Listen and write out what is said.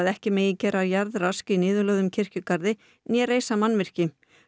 ekki megi gera jarðrask í niðurlögðum kirkjugarði né reisa mannvirki